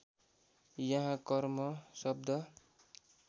यहाँ कर्म शब्द